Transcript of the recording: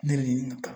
Ne ɲininka